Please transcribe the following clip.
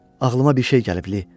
Ağlıma bir şey gəlib, Li.